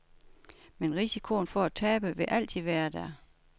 Men risikoen for at tabe vil altid være der.